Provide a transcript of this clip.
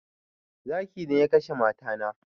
Zakin ne ya kashe mata na